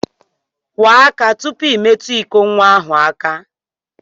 Kwọọ aka tụpụ I metu ịkọ nwa ahụ aka!